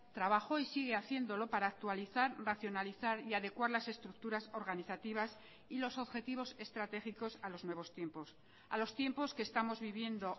trabajó y sigue haciéndolo para actualizar racionalizar y adecuar las estructuras organizativas y los objetivos estratégicos a los nuevos tiempos a los tiempos que estamos viviendo